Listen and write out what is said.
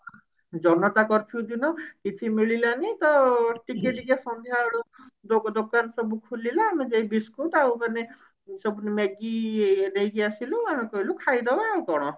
ଜନତା curfew ଦିନ କିଛି ମିଳିଲାନି ତ ଟିକେ ଟିକେ ସନ୍ଧ୍ଯା ବେଳୁ ଦୋ ଦୋକାନ ସବୁ ଖୋଲିଲା ଆମେ ଯାଇ biscuit ଆଉ ମାନେ ସବୁ Maggie ନେଇକି ଆସିଲୁ କହିଲୁ ଖାଇଦେବା ଆଉ କଣ